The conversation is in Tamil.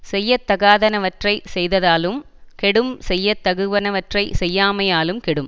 செய்யத்தகாதனவற்றைச் செய்தலாலும் கெடும் செய்ய தகுவனவற்றைச் செய்யாமையாலும் கெடும்